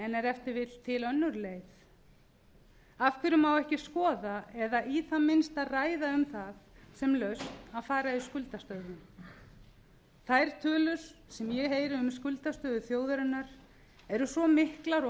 t v til önnur leið af hverju má ekki skoða eða í það minnsta ræða um það sem lausn að fara í skuldastöðvun þær tölur sem ég heyri um skuldastöðu þjóðarinnar eru svo miklar og